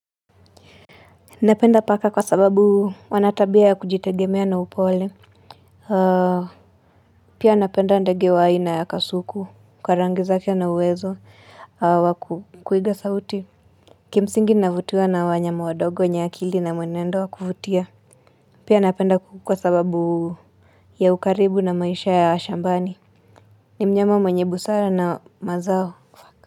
Napenda paka kwa sababu wanatabia ya kujitegemea na upole. Pia napenda ndege wa haina ya kasuku, kwa rangi zake na uwezo wa kuiga sauti. Kimsingi navutua na wanyama wadogo, nyakili na mwenendo wa kvfutia. Pia napenda kukukua sababu ya ukaribu na maisha ya shambani. Ni mnyama mwenye busara na mazao.